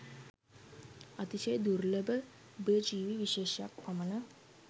අතිශය දුර්ලභ උභයජීවී විශේෂක් පමණ